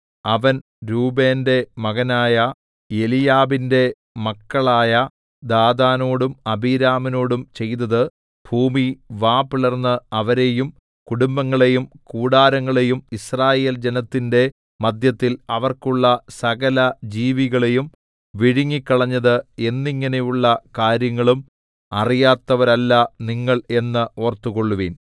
അവൻ രൂബേന്റെ മകനായ എലീയാബിന്റെ മക്കളായ ദാഥാനോടും അബീരാമിനോടും ചെയ്തത് ഭൂമി വാ പിളർന്ന് അവരെയും കുടുംബങ്ങളെയും കൂടാരങ്ങളെയും യിസ്രായേൽ ജനത്തിന്റെ മദ്ധ്യത്തിൽ അവർക്കുള്ള സകലജീവികളെയും വിഴുങ്ങിക്കളഞ്ഞത് എന്നിങ്ങനെയുള്ള കാര്യങ്ങളും അറിയാത്തവരല്ല നിങ്ങൾ എന്ന് ഓർത്തുകൊള്ളുവീൻ